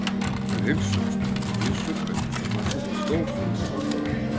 Þeir heilsuðust og Gizur benti lögmanninum á stól fyrir framan borðið.